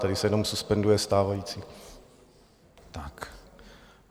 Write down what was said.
Tady se jenom suspenduje stávající.